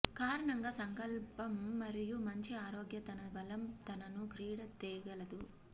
కారణంగా సంకల్పం మరియు మంచి ఆరోగ్య తన బలం తనను క్రీడ తేగలదు